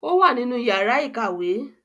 ó wà nínú yàrá ìkàwé.